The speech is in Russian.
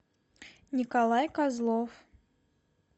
николай козлов